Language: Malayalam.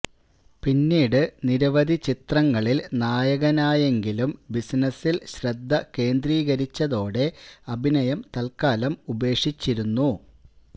പിന്നീട് നിരവധി ചിത്രങ്ങളില് നായകനായെങ്കിലും ബിസിനസില് ശ്രദ്ധ കേന്ദ്രീകരിച്ചതോടെ അഭിനയം തല്ക്കാലം ഉപേക്ഷിച്ചിരുന്നു